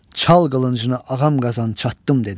Çal qılıncını Ağam Qazan çattım, dedi.